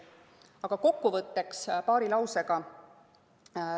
Aga kokkuvõtteks paar lauset.